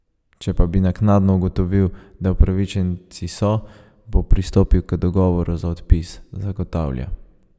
Če pa bi naknadno ugotovil, da upravičenci so, bo pristopil k dogovoru za odpis, zagotavlja.